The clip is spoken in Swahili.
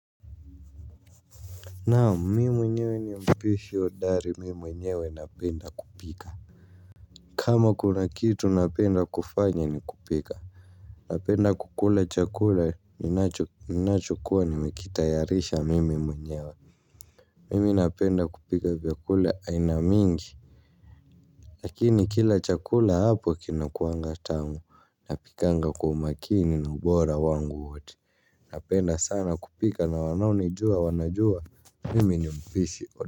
Naam mimi mwenyewe ni mpishi hodari mimi mwenyewe napenda kupika. Kama kuna kitu napenda kufanya ni kupika. Napenda kukula chakula ninachokuwa nimekitayarisha mimi mwenyewe. Mimi napenda kupika vyakula aina mingi. Lakini kila chakula hapo kinakuanga tamu napikanga kwa makini na ubora wangu wote. Napenda sana kupika na wanaonijua wanajua. Mimi ni mpishi hodari.